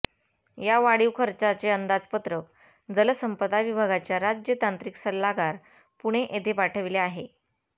या वाढीव खर्चाचे अंदाजपत्रक जलसंपदा विभागाच्या राज्य तांत्रिक सल्लागार पुणे येथे पाठविले आहे